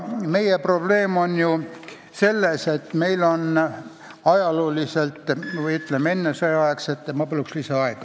Palun lisaaega!